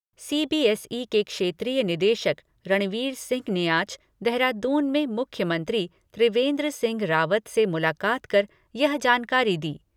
CBSE के क्षेत्रीय निदेशक रणवीर सिंह ने आज देहरादून में मुख्यमंत्री त्रिवेन्द्र सिंह रावत से मुलाकात कर यह जानकारी दी।